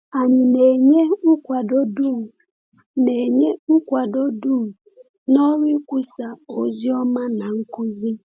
Anyị na-enye nkwado dum na-enye nkwado dum n’ọrụ ikwusa ozi ọma na nkuzi?